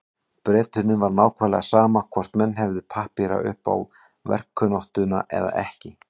Bretunum var nákvæmlega sama hvort menn hefðu pappíra upp á verkkunnáttuna eða ekki.